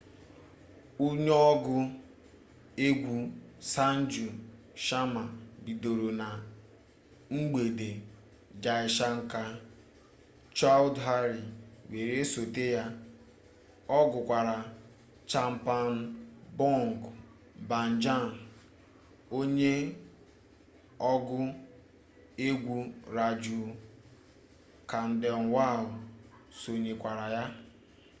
onye ọgụ egwu sanju sharma bidoro na mgbede jai shankar choudhary were sote ya ọ gụkwara chhappan bhog bhajan onye ọgụ egwu raju khandelwal sonyekwara ya